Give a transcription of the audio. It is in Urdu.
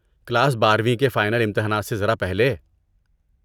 کلاس بارویں کے فائنل امتحانات سے ذرا پہلے